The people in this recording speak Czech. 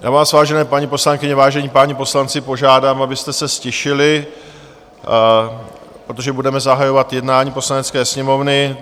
Já vás, vážené paní poslankyně, vážení páni poslanci, požádám, abyste se ztišili, protože budeme zahajovat jednání Poslanecké sněmovny.